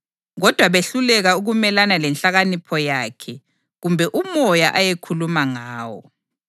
kodwa behluleka ukumelana lenhlakanipho yakhe kumbe uMoya ayekhuluma ngawo.